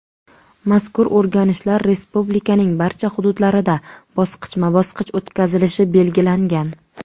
Mazkur o‘rganishlar respublikaning barcha hududlarida bosqichma-bosqich o‘tkazilishi belgilangan.